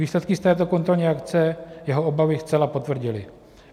Výsledky z této kontrolní akce jeho obavy zcela potvrdily.